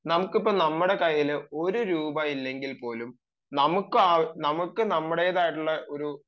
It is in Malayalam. നമ്മുടെ കയ്യിൽ ഇപ്പം ഒരു രൂപ പോലും ഇല്ലെങ്കിൽ നമുക്ക് നമ്മുടേതായിട്ടുള്ള ഒരു